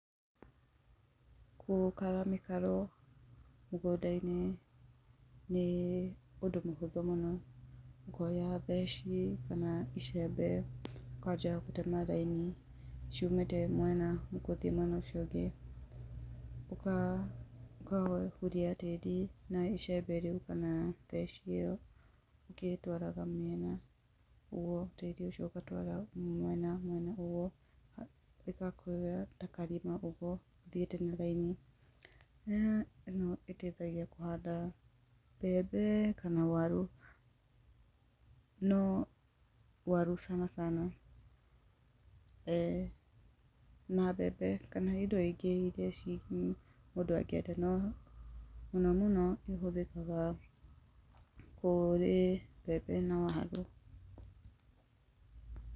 Gũkara mĩkaro mũgũnda-inĩ nĩ ũndũ mũhũthũ mũno, ũkoya theci kana icembe ũkanjia gũtema raini ciumĩte mwena gũthiĩ mwena ũcio ũngĩ, ũkahuria tĩri na icembe rĩu kana theci ĩyo ũgĩtwaraga mĩena uguo tĩri ũcio ũgĩtwaraga mwena mwena uguo ĩgakũhe ta karima ũguo ũthiĩte na raini, ĩno ĩteithagia kũhanda mbembe kana waru. No waru sana sana na mbembe kana hĩndĩ ĩyo rĩngĩ iria ciĩkuo mũndũ angĩenda na mũno mũno ĩhũthĩkaga kũrĩ mbembe na waru.